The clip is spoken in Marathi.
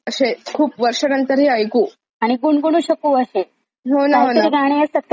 आणि गुणगुणू शकू हे कायतरी गाणे असतात काही काही तर म्हणता पण येत नाहीत, आपल्याला